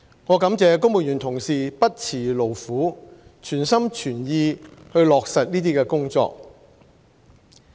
我感謝公務員同事不辭勞苦，全心全意落實這些工作。